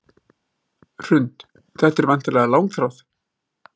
Hrund: Þetta er væntanlega langþráð?